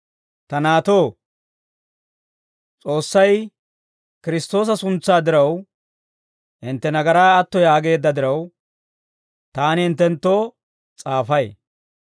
Ta naatoo, S'oossay Kiristtoosa suntsaa diraw, hintte nagaraa atto yaageedda diraw, taani hinttenttoo s'aafay.